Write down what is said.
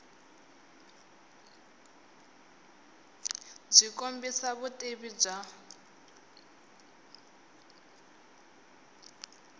byi kombisa vutivi bya